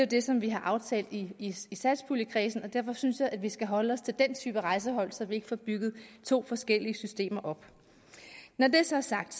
det som vi har aftalt i satspuljekredsen derfor synes jeg at vi skal holde os til den type rejsehold så vi ikke får bygget to forskellige systemer op når det så er sagt